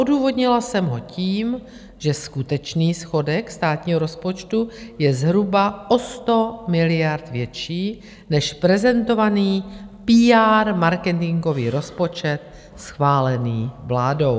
Odůvodnila jsem ho tím, že skutečný schodek státního rozpočtu je zhruba o 100 miliard větší než prezentovaný PR marketingový rozpočet schválený vládou.